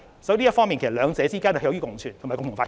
所以，在這方面，其實兩者可以共存及共同發展。